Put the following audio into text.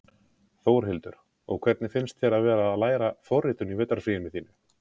Þórhildur: Og hvernig finnst þér að vera að læra forritun í vetrarfríinu þínu?